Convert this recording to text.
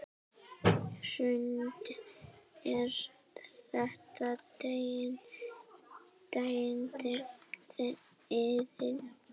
Hrund: Er þetta deyjandi iðn?